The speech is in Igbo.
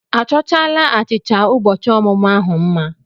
A chọchaala achịcha ụbọchị ọmụmụ ahụ mma?